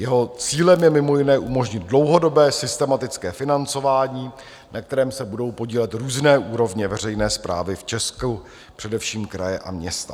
Jeho cílem je mimo jiné umožnit dlouhodobé systematické financování, na kterém se budou podílet různé úrovně veřejné správy v Česku, především kraje a města.